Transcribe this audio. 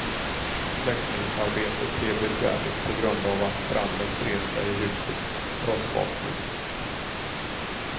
Släckningsarbetet blev besvärligt på grund av att branden spred sig i husets trossbotten.